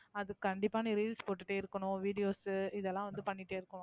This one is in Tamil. அது கண்டிப்பா நீ reels போட்டுட்டே இருக்கணும், videos உ இதெல்லாம் பண்ணிட்டே இருக்கணும்.